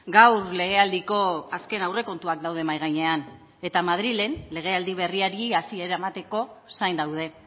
gaur legealdiko azken aurrekontuak daude mahai gainean eta madrilen legealdi berriari hasiera emateko zain daude